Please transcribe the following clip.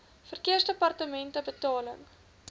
verkeersdepartementebetaling